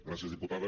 gràcies diputada